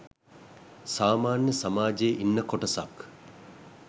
සාමාන්‍ය සමාජයේ ඉන්න කොටසක්.